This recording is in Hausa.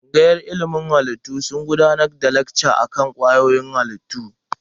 Tsangayar ilimin halittu suna gudanar da lekca akan kwayoyin halittu.